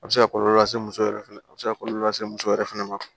A bɛ se ka kɔlɔlɔ lase muso yɛrɛ fɛnɛ ma a bɛ se ka kɔlɔlɔ lase muso yɛrɛ fɛnɛ ma